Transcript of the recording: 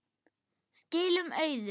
Skilum auðu.